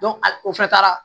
a o fɛnɛ taara